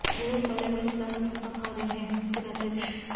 Europe वाले America से धोखा खा रहे हैंः सेनाध्यक्ष